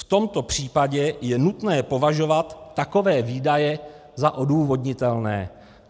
V tomto případě je nutné považovat takové výdaje za odůvodnitelné."